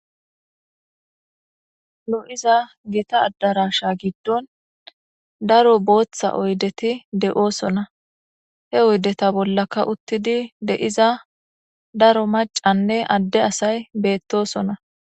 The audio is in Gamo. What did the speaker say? nu iza gita addarasha giddon daro booththa oydeti de7oosona he oydeta bollaka uttidi de7iza daro macanne adde asay beettosona